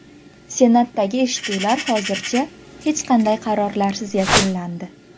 Senatdagi eshituvlar hozircha hech qanday qarorlarsiz yakunlandi.